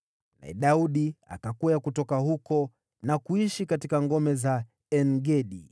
Naye Daudi akakwea kutoka huko na kuishi katika ngome za En-Gedi.